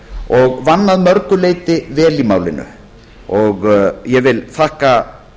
og vann að mörgu leyti vel í málinu ég þakka